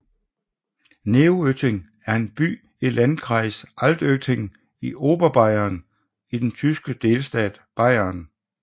Neuötting er en by i Landkreis Altötting i Oberbayern i den tyske delstat Bayern